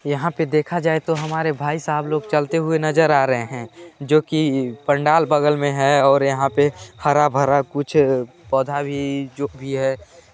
यहाँ पे देखा जाये तो हमारे भाई साहब लोग चलते हुए नजर आ रहे हैं जो की पंडाल बगल में है और यहाँ पे हरा भरा कुछ पौधा भी जो भी है।